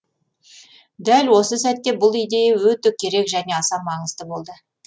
дәл осы сәтте бұл идея өте керек және аса маңызды болды